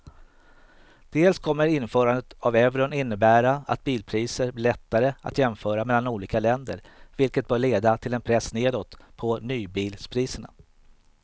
Dels kommer införandet av euron innebära att bilpriser blir lättare att jämföra mellan olika länder vilket bör leda till en press nedåt på nybilspriserna.